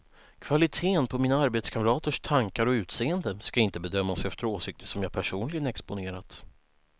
Kvaliteten på mina arbetskamraters tankar och utseende ska inte bedömas efter åsikter som jag personligen exponerat.